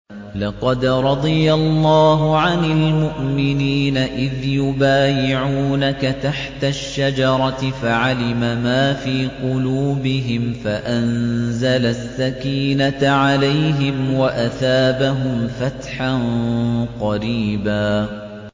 ۞ لَّقَدْ رَضِيَ اللَّهُ عَنِ الْمُؤْمِنِينَ إِذْ يُبَايِعُونَكَ تَحْتَ الشَّجَرَةِ فَعَلِمَ مَا فِي قُلُوبِهِمْ فَأَنزَلَ السَّكِينَةَ عَلَيْهِمْ وَأَثَابَهُمْ فَتْحًا قَرِيبًا